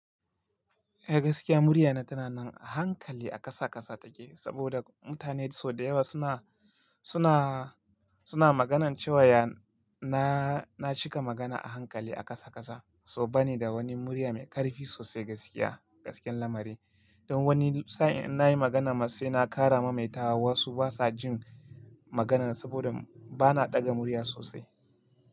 Eh gaskiya murya na tana nan a hankali a kasa kasa take, saboda mutane sau da yawa suna, suna, suna maganance wayan na, na cika magana a hankali a kasa kasa. So ba ni da wani murya mai ƙarfi sosai gaskiya, gaskiyar lamari. Don wani sa'in in nayi magana matse na ƙara maimaita wa wasu basa jin maganan saboda bana ɗaga murya sosai.